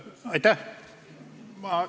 Aitäh!